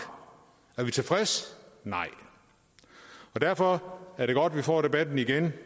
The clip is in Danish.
og er vi tilfredse nej og derfor er det godt at vi får debatten igen og